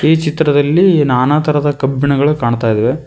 ಈ ಚಿತ್ರದಲ್ಲಿ ನಾನಾ ತರದ ಕಬ್ಬಿಣಗಳು ಕಾಣ್ತಾ ಇದಾವೆ.